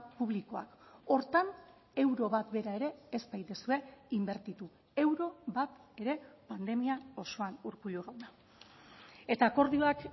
publikoak horretan euro bat bera ere ez baituzue inbertitu euro bat ere pandemia osoan urkullu jauna eta akordioak